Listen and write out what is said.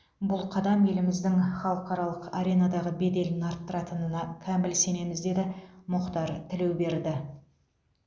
бұл қадам еліміздің халықаралық аренадағы беделін арттыратынына кәміл сенеміз деді мұхтар тілеуберді